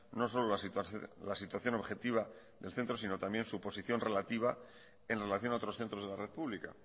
no solo la situación objetiva del centro sino también su posición relativa en relación a otros centros de la red pública